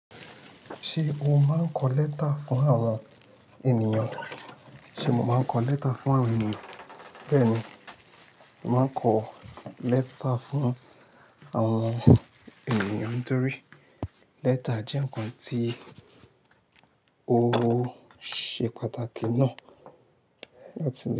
Ṣé o máa ń kọ lẹ́tà fún àwọn ènìyàn? Bẹ́ẹ̀ni, mo maá kọ lẹ́tà fún àwọn ènìyàn torí lẹ́tà jẹ́ ǹkan tí ó ṣe pàtàkì ná.